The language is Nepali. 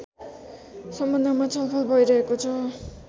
सम्बन्धमा छलफल भैरहेको छ